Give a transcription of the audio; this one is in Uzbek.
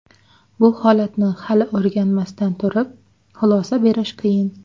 Bu holatni hali o‘rganmasdan turib, xulosa berish qiyin.